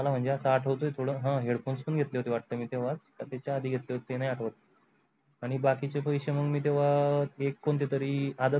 मला म्हणजे असा थोड ह headphones पण घेतले होते वाटे मी तेव्हा कि त्यचा आधी घेतले होते ते नाही आठव आणि बाकीचे पैशे मग तेव्हा इक कोणती तरी आदत लागला.